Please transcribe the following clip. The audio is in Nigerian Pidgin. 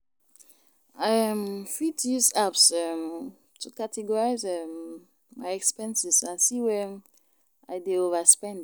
I um fit use apps um to categorize um my expenses and see where I dey overspend.